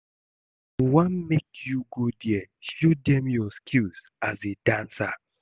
I wan make you go there show dem your skills as a dancer